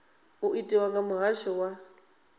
u itwa kha muhasho wa